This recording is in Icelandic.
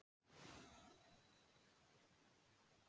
Meira að segja kvefpestin varð drepsótt meðal Indíána.